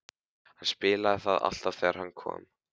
Hann spilaði það alltaf þegar hann kom.